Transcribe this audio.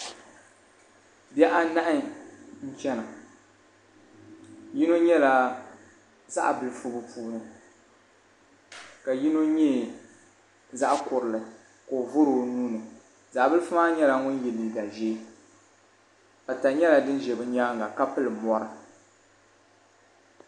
Bihi anahi n chana yino nyɛla zaɣa bilifu bi puuni ka yino nyɛ zaɣa kurili ka o vɔri o nuu ni zaɣa bilifu maa nyɛla ŋun yɛ liiga ʒee pata nyɛla din ʒɛ bi nyaanga ka pili mɔri.